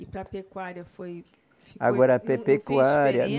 E para a pecuária foi. Agora a pecuária.